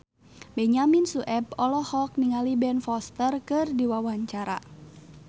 Benyamin Sueb olohok ningali Ben Foster keur diwawancara